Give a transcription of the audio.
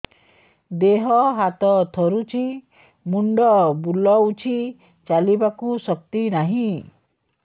ଦେହ ହାତ ଥରୁଛି ମୁଣ୍ଡ ବୁଲଉଛି ଚାଲିବାକୁ ଶକ୍ତି ନାହିଁ